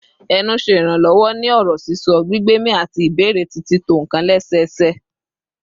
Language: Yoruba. Ẹnu ṣe iranlọwọ ni ọrọ sisọ, gbigbemi, ati ibẹrẹ ti tito nkan lẹsẹsẹ